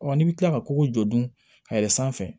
n'i bɛ kila ka kogo jɔ dun ka yɛlɛ sanfɛ